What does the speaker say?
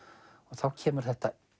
þá kemur þetta